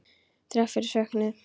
Þrátt fyrir söknuð.